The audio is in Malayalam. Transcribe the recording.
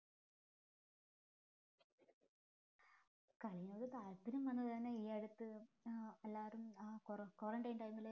കളിയോട് താല്പര്യം വന്നത് തന്നെ ഈ അടുത്ത് ആഹ് എല്ലാരും ആഹ് കൊ quaratine time ല്